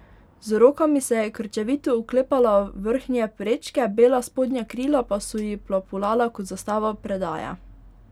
Z rokami se je krčevito oklepala vrhnje prečke, bela spodnja krila pa so ji plapolala kot zastava predaje.